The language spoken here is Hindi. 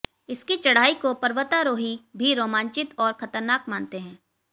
इसकी चढाई को पर्वतारोही भी रोमांचित और खतरनाक मानते हैं